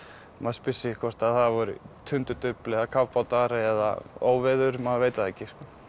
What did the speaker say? maður spyr sig hvort það voru tundurdufl eða kafbátar eða óveður maður veit það ekki